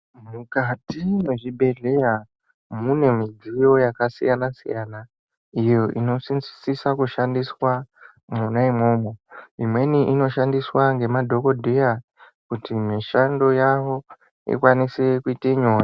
Mukati mezvibhedhlera mune midziyo yakasiyana siyanai iyo ino siso kushandiswa mona imomo imweni inoshandiswa nemadhokodheya kuti mishando yavo ikwanise kute nyore.